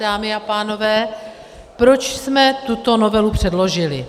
Dámy a pánové, proč jsme tuto novelu předložili?